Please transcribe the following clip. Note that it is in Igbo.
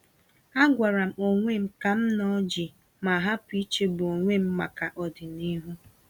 Agwaram onwem kam nọ jii ma hapụ ichegbu onwem maka ọdịnihu.